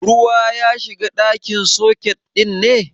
Ruwa ya shiga cikin soket ɗin ne?